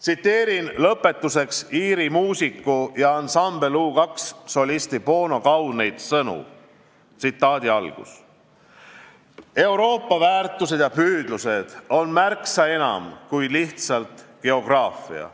Tsiteerin lõpetuseks Iiri muusiku, ansambel U2 solisti Bono kauneid sõnu: "Euroopa väärtused ja püüdlused on märksa enam kui lihtsalt geograafia.